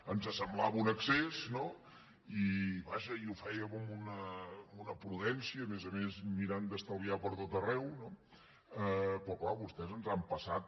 ens semblava un excés i vaja ho fèiem amb una prudència a més a més mirant d’estalviar pertot arreu no però clar vostès ens han passat